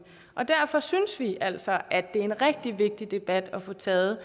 og derfor synes vi altså at det er en rigtig vigtig debat at få taget